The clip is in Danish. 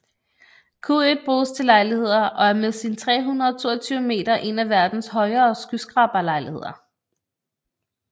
Q1 bruges til lejligheder og er med sine 322 meter en af verdens højere skyskraberlejligheder